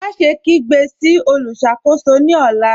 Máṣẹ̀ kígbe sí olùṣakò̩só̩ ní ọ̀là.